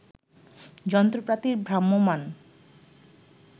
যন্ত্রপাতির ভ্রাম্যমাণ